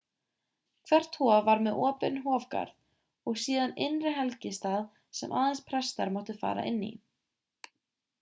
hvert hof var með opinn hofgarð og síðan innri helgistað sem aðeins prestar máttu fara inn í